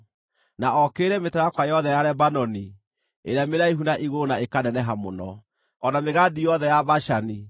na okĩrĩre mĩtarakwa yothe ya Lebanoni, ĩrĩa mĩraihu na igũrũ na ĩkaneneha mũno, o na mĩgandi yothe ya Bashani,